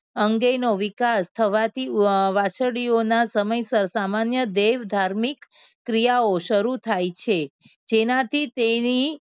અંગેનો વિકાસ થવાથી વાછરાળીઓના સમયસર સામાન્ય દેવ ધાર્મિક ક્રિયાઓ શરૂ થાય છે. જેનાથી તેની